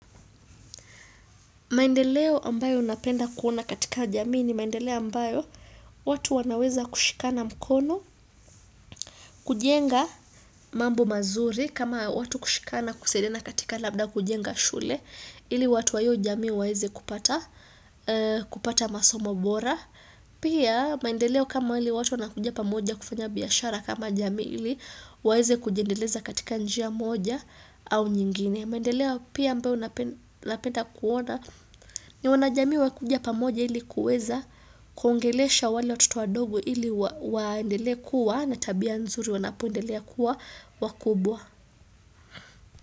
Maendeleo ambayo napenda kuona katika jamii ni maendeleo ambayo watu wanaweza kushikana mkono kujenga mambo mazuri kama watu kushikana kusaidiana katika labda kujenga shule ili watu wa hiyo jamii waweze kupata masomo bora. Pia maendeleo kama ile watu wanakujia pamoja kufanya biashara kama jamii ili waweze kujiendeleza katika njia moja au nyingine. Mendeleo pia ambao napenda kuona ni wanajamii wakuja pamoja ili kuweza kuongelesha wale watoto wadogo ili waendelee kuwa na tabia nzuri wanapoendelea kuwa wakubwa.